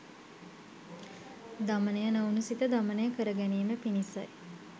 දමනය නොවුණු සිත දමනය කරගැනීම පිණිසයි.